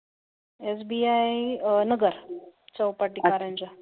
SBI Nagar